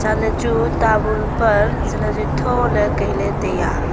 ale chu tamun paan jatle jatchu le kaile taiya.